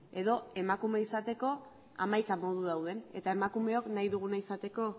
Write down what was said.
edo emakume izateko hamaika modu dauden eta emakumeok nahi duguna izateko